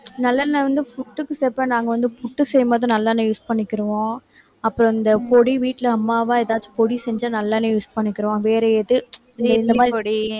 நல்லெண்ணெய் வந்து புட்டுக்கு நாங்க வந்து புட்டு செய்யும் போது நல்லெண்ணெய் use பண்ணிக்கிருவோம் அப்புறம் இந்த பொடி வீட்டுல அம்மாவா ஏதாச்சும் பொடி செஞ்சா நல்லெண்ணெய் use பண்ணிக்கிருவோம்